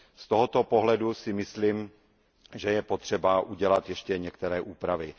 Z tohoto pohledu si myslím, že je potřeba udělat ještě některé úpravy.